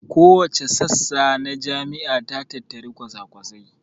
Kowace sassa a jami'a ta tattari kwasakwasai